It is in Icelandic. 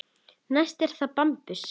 Næst er það bambus.